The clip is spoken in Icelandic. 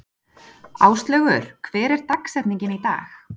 Áslaugur, hver er dagsetningin í dag?